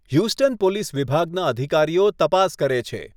Houston police વિભાગના અધિકારીઓ તપાસ કરે છે.